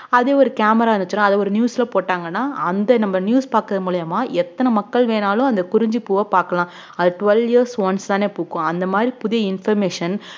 அதே ஒரு camera இருந்துச்சுன்னா அத ஒரு news ல போட்டாங்கன்னா அந்த நம்ம news பாக்குறது மூலியமா எத்தன மக்கள் வேணாலும் அந்த குறிஞ்சிப்பூவ பார்க்கலாம் அது twelve years once தானே பூக்கும் அந்த மாதிரி புதிய information